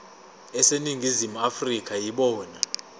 aseningizimu afrika yibona